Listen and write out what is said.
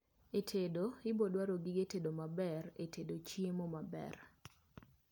e tedo ibiro dwaro gige tedo maber e tedo chiemo maber